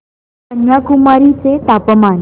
कन्याकुमारी चे तापमान